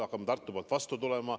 Hakkame Tartu poolt vastu tulema.